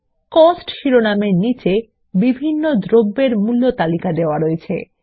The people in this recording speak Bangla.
Costশিরোনামের নীচে বিভিন্ন দ্রব্যের মূল্য তালিকা রয়েছে